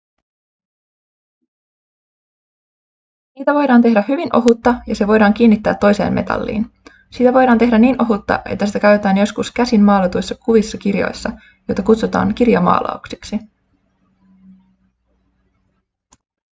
siitä voidaan tehdä hyvin ohutta ja se voidaan kiinnittää toiseen metalliin siitä voidaan tehdä niin ohutta että sitä käytettiin joskus käsin maalatuissa kuvissa kirjoissa joita kutsutaan kirjamaalauksiksi